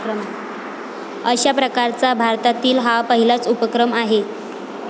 अशा प्रकारचा भारतातील हा पहिलाच उपक्रम आहे.